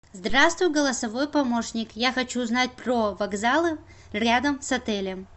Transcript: здравствуй голосовой помощник я хочу узнать про вокзалы рядом с отелем